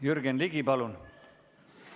Jürgen Ligi, palun!